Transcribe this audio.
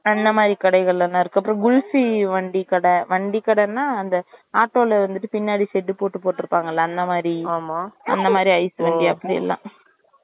அந்த மாறி கடைகலாம் இருக்கும் அப்புறம் gulfi வண்டி கடை வண்டி கடை னா அந்த ஆட்டோல வந்துட்டு பின்னாடி set போட்டு போற்றுப்பாங்கள அந்த மாறி அந்த மாறி ice வண்டி அப்டிலாம்